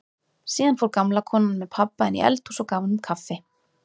Síðan fór gamla konan með pabba inn í eldhús og gaf honum kaffi.